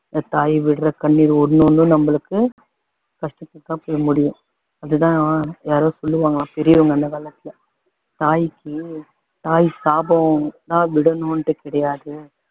பெத்த தாய் விடற கண்ணீர் ஒண்ணு ஒண்ணும் நம்மளுக்கு கஷ்டத்தில தான் போய் முடியும் அதுதான் யாரோ‌ சொல்லுவாங்கலாம் பெரியவங்க அந்த காலத்துல தாயிக்கு தாய் சாபம் தான் விடணும்ணு கிடையாது